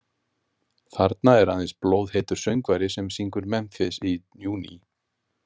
Þarna er aðeins blóðheitur söngvari sem syngur Memphis í júní.